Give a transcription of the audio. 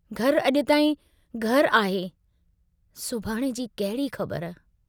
घर अजु ताईं घर आहे, सुभाणे जी कहिड़ी ख़बर?